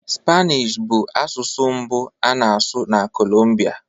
Spanish bụ asụsụ mbụ a na-asụ na Colombia